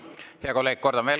Hea kolleeg!